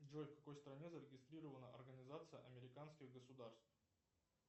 джой в какой стране зарегистрирована организация американских государств